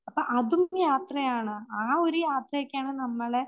അപ്പം അതും യാത്രയാണ്. ആ ഒരു യാത്രയൊക്കെയാണ്